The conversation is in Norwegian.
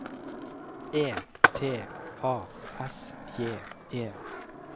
E T A S J E